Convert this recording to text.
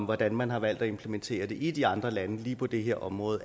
hvordan man har valgt at implementere det i de andre lande lige på det her område